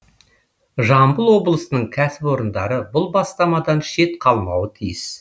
жамбыл облысының кәсіпорындары бұл бастамадан шет қалмауы тиіс